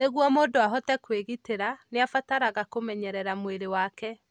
Nĩguo mũndũ ahote kwĩgĩtĩra, nĩ abataraga kũmenyerera mwĩrĩ wake.